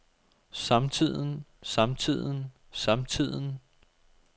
samtiden samtiden samtiden